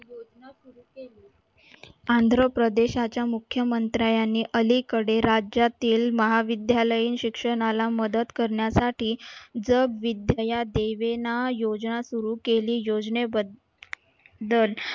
आंध्रप्रदेशाच्या मुख्यमंत्र्याने अलीकडे राज्यातील महाविद्यालयीन शिक्षणाला मदत करण्यासाठी जग विद्या दीवेना योजना सुरू केली, योजनेबद्दल